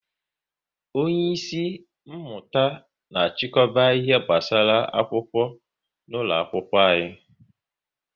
onye isi mmụta na achikoba ihe gbasara akwụkwọ n'ụlọ akwụkwọ